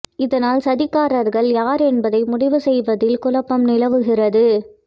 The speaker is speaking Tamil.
இதனால் சதிகாரர்கள் யார் என்பதை முடிவு செய்வதில் குழப்பம் நிலவுகிறது